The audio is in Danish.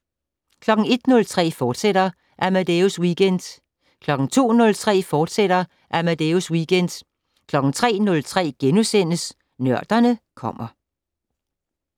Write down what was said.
01:03: Amadeus Weekend, fortsat 02:03: Amadeus Weekend, fortsat 03:03: Nørderne kommer *